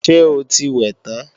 Ṣé o ti wẹ̀ tán?